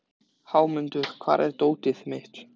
Þessi kvika er venjulega fremur fátæk af gosgufum.